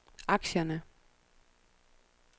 aktierne